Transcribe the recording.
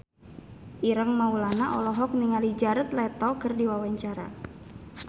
Ireng Maulana olohok ningali Jared Leto keur diwawancara